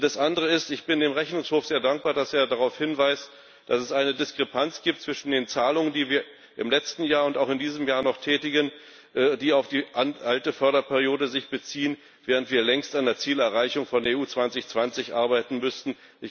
Das andere ist Ich bin dem Rechnungshof sehr dankbar, dass er darauf hinweist, dass es eine Diskrepanz gibt zwischen den Zahlungen, die wir im letzten Jahr und auch in diesem Jahr noch tätigen, die sich auf die alte Förderperiode beziehen, während wir längst an der Zielerreichung von Europa2020 arbeiten müssten.